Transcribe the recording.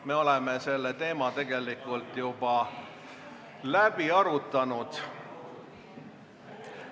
Me oleme selle teema tegelikult juba läbi arutanud.